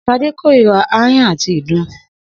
S̩adé kóríra aáyán àti ìdun